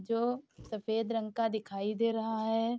जो सफ़ेद रंग का दिखाई दे रहा है।